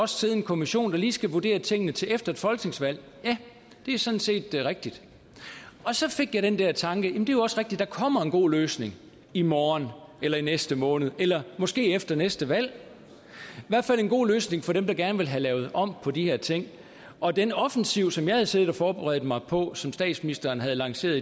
sidde en kommission der lige skal vurdere tingene til efter et folketingsvalg ja det er sådan set rigtigt og så fik jeg den der tanke jamen det er jo også rigtigt der kommer en god løsning i morgen eller i næste måned eller måske efter næste valg i en god løsning for dem der gerne vil have lavet om på de her ting og den offensiv som jeg havde siddet og forberedt mig på og som statsministeren havde lanceret